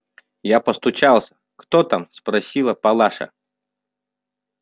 я постучался кто там спросила палаша